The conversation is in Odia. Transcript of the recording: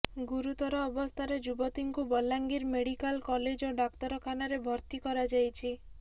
ଗୁରୁତର ଅବସ୍ଥାରେ ଯୁବତୀଙ୍କୁ ବଲାଙ୍ଗିର ମେଡିକାଲ କଲେଜ ଓ ଡାକ୍ତରଖାନାରେ ଭର୍ତ୍ତି କରାଯାଇଛି